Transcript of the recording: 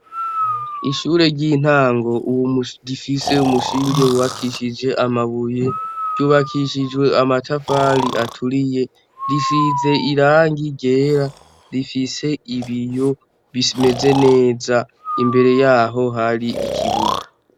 Ishure ry'intango uwu rifise umushinge wubakishije amabuye ryubakishijwe amatafali aturiye rifize irangi rera rifise ibiyo bimeze neza imbere yaho hari ikibuga.